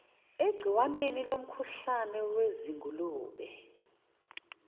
egciwaneni lomkhuhlane wezingulube